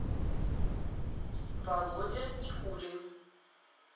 володя никулин